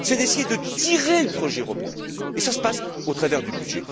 c'est d'essayer de tirer le projet européen et ça se passe au travers du budget.